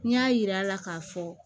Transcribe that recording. N y'a yir'a la k'a fɔ